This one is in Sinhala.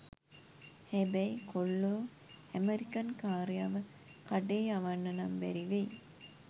හැබැයි කොල්ලෝ ඇමරිකන් කාරයව කඩේ යවන්නනම් බැරි වෙයි.